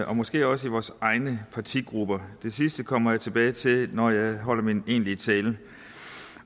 og måske også i vores egne partigrupper det sidste kommer jeg tilbage til når jeg holder min egentlige tale